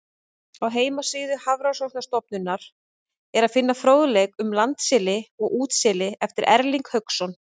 Á heimasíðu Hafrannsóknastofnunarinnar er að finna fróðleik um landseli og útseli eftir Erling Hauksson.